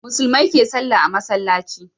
Musulmai ke sallah a masallaci